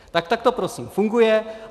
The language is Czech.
Tak to prosím funguje.